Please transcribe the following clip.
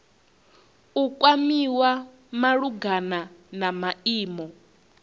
u kwamiwa malugana na maimo